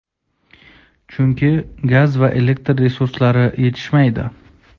Chunki, gaz va elektr resurslari yetishmaydi.